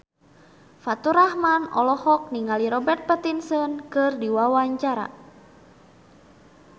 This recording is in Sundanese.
Faturrahman olohok ningali Robert Pattinson keur diwawancara